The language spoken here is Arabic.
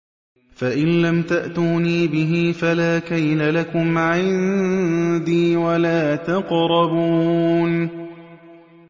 فَإِن لَّمْ تَأْتُونِي بِهِ فَلَا كَيْلَ لَكُمْ عِندِي وَلَا تَقْرَبُونِ